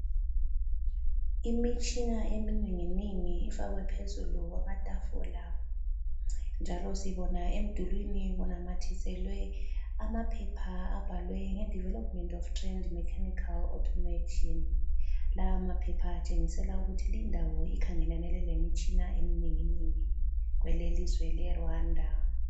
Imitshina eminenginengi ifakwe phezulu kwamatafula, njalo sibona emdulwini kunamathiselwe amaphepha abhalwe nge Development Trend of Mechanical Automation. Lawa maphepha atshengisela ukuthi lindawo ikhangelane lemitshina eminenginengi kwelelizwe leRwanda.